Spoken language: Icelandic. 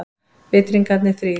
Vitringarnir þrír.